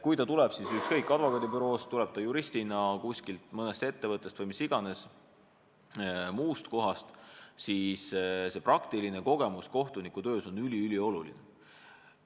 Kui ta tuleb kas advokaadibüroost, juristina mõnest ettevõttest või mis iganes muust kohast, siis see tema praktiline kogemus on kohtunikutöös üliülioluline.